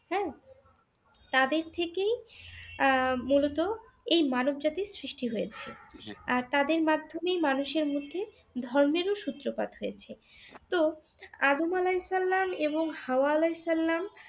হ্যাঁ, তাদের থেকেই আহ মূলত এই মানব জাতি সৃষ্টি হয়েছে, আর তাদের মাধ্যমেই মানুষের মধ্যে ধর্মের ও সূত্রপাত হয়েছে তো আদম আলাহিসাল্লাম এবং হাওয়া আলাহিসাল্লাম